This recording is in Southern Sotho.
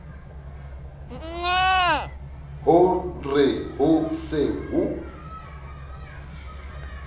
ho re ho se ho